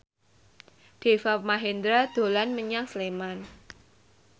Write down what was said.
Deva Mahendra dolan menyang Sleman